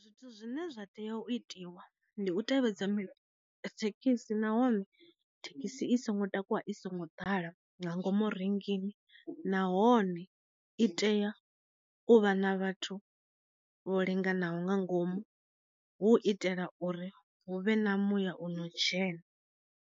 Zwithu zwine zwa tea u itiwa ndi u tevhedza mi thekhisi nahone thekhisi i songo takuwa i songo ḓala nga ngomu rengini nahone i tea u vha na vhathu vho linganaho nga ngomu, hu itela uri hu vhe na muya u no dzhena.